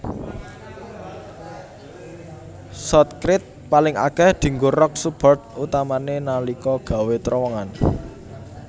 Shotcrete paling akèh dianggo rock support utamané nalika gawé trowongan